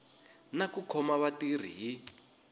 na ku khoma vatirhi hi